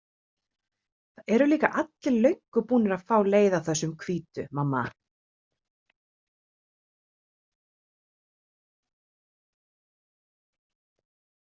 Það eru líka allir löngu búnir að fá leið á þessum hvítu, mamma.